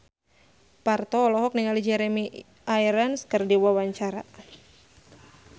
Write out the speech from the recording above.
Parto olohok ningali Jeremy Irons keur diwawancara